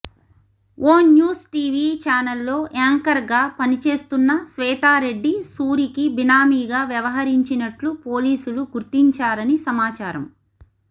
ఓ news TV చానెల్లో యాంకర్గా పనిచేస్తున్న శ్వేతారెడ్డి సూరికి బినామీగా వ్యవహిరించినట్లు పోలీసులు గుర్తించారని సమాచారం